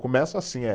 Começa assim, eh